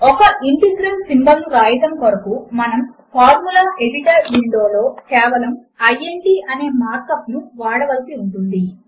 ఒక integral symbol ను వ్రాయడము కొరకు మనము ఫార్ములా ఎడిటర్ విండో లో కేవలము ఇంట్ అనే మార్క్ అప్ ను వాడవలసి ఉంటుంది